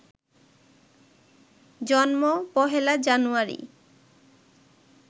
জন্ম ১লা জানুয়ারি